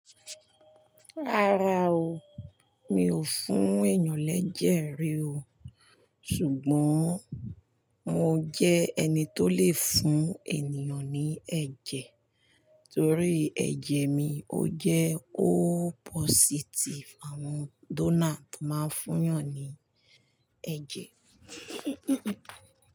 Rárá o, mi ò fún èyàn lẹ́jẹ̀ rí o. Ṣùgbọ́n mo jẹ́ ẹni tó le fún ènìyàn ní ẹ̀jẹ̀ torí ẹ̀jẹ̀ mi ó jẹ́ O positive, àwọn donor tó máa ń fún ènìyàn ní ẹ̀jẹ̀.